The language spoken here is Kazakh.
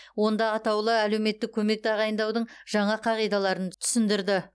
онда атаулы әлеуметтік көмек тағайындаудың жаңа қағидаларын түсіндірді